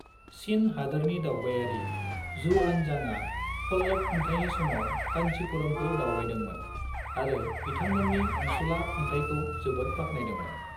चीन हादोरनि दावबायारि जुआनजांआ पल्लव खुंथाइनि समाव कान्चीपुरमखौ दावबायदोंमोन आरो बिथांमोननि अनसुला खुंथाइखौ जोबोद बाख्नायदोंमोन।